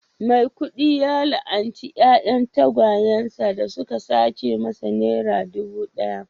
maikudu ya la'anci 'ya'yan tagwayen sa da suka sace masa naira dubu daya